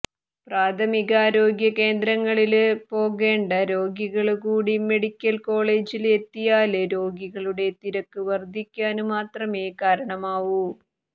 പ്രാഥമികാരോഗ്യ കേന്ദ്രങ്ങളില് പോകേണ്ട രോഗികള് കൂടി മെഡിക്കല് കോളേജില് എത്തിയാല് രോഗികളുടെ തിരക്ക് വര്ധിക്കാന് മാത്രമേ കാരണമാവൂ